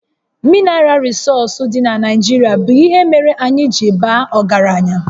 Minaral rịsọọsụ dị na Naijirịa bụ ihe mere anyị ji baa ọgaranya